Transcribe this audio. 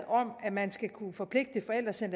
om at man skal kunne forpligte forældre til at